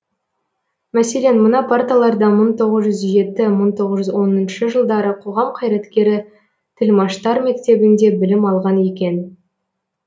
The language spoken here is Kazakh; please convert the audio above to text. мәселен мына парталарда мың тоғыз жүз жеті мың тоғыз жүз оныншы жылдары қоғам қайраткері тілмаштар мектебінде білім алған екен